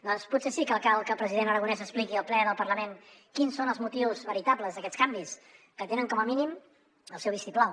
doncs potser sí que cal que el president aragonès expliqui al ple del parlament quins són els motius veritables d’aquests canvis que tenen com a mínim el seu vistiplau